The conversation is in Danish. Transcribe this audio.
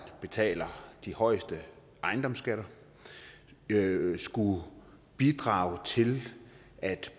betaler de højeste ejendomsskatter skulle bidrage til at